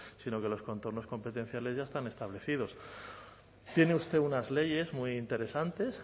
sino que los contornos competenciales ya están establecidos tiene usted unas leyes muy interesantes